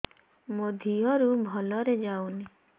ମୋ ଦିହରୁ ଭଲରେ ଯାଉନି